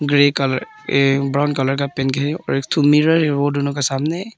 Grey colour ये brown colour का paint है और एक ठो मिरर है वो दोनों के सामने।